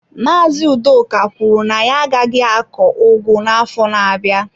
Maazị Udoka kwuru na ya agaghị akọ ugu n'afọ na-abịa.